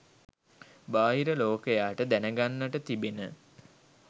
බාහිර ලෝකයාට දැනගන්නට තිබෙන